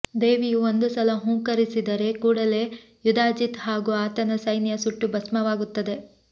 ದೇವಿಯು ಒಂದು ಸಲ ಹೂಂಕರಿಸಿದ ಕೂಡಲೆ ಯುಧಾಜಿತ್ ಹಾಗೂ ಆತನ ಸೈನ್ಯ ಸುಟ್ಟು ಭಸ್ಮವಾಗುತ್ತದೆ